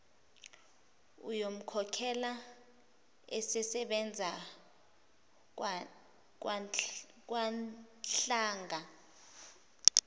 uyomkhokhela esesebenza kwanhlanga